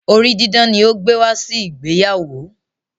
orí didán ni o gbe wá si ìgbéyàwó.